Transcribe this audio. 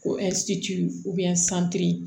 Ko